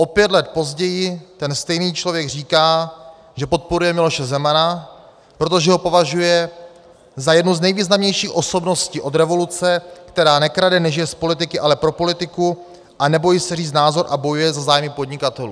O pět let později ten stejný člověk říká, že podporuje Miloše Zemana, protože ho považuje za jednu z nejvýznamnějších osobností od revoluce, která nekrade, nežije z politiky, ale pro politiku a nebojí se říct názor a bojuje za zájmy podnikatelů.